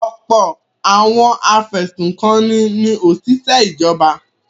Ọ̀pọ̀ àwọn afẹ̀sùnkanni ni òṣìṣẹ́ ìjọba.